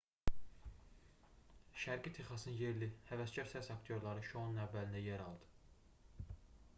şərqi texasın yerli həvəskar səs aktyorları şounun əvvəlində yer aldı